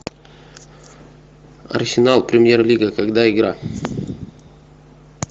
арсенал премьер лига когда игра